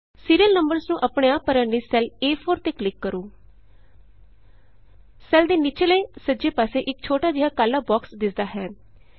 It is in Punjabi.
ਸੀਰੀਅਲ ਨੰਬਰਜ਼ ਨੂੰ ਆਪਣੇ ਆਪ ਭਰਨ ਲਈ ਸੈੱਲ ਏ4 ਤੇ ਕਲਿਕ ਕਰੋਸੈੱਲ ਦੇ ਨਿਚਲੇ ਸੱਜੇ ਪਾਸੇ ਇਕ ਛੋਟਾ ਜਿਹਾ ਕਾਲਾ ਬੋਕਸ ਦਿੱਸਦਾ ਹੈ